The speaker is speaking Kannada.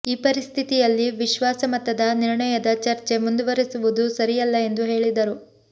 ಈ ಪರಿಸ್ಥಿತಿಯಲ್ಲಿ ವಿಶ್ವಾಸ ಮತದ ನಿರ್ಣಯದ ಚರ್ಚೆ ಮುಂದುವರೆಸುವುದು ಸರಿಯಲ್ಲ ಎಂದು ಹೇಳಿದರು